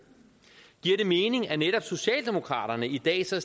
giver det mening at netop socialdemokraterne i dag så